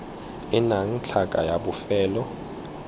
e nnang tlhaka ya bofelo